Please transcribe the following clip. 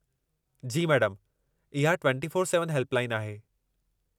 जी मैडमु, इहा 24x7 helpline आहे।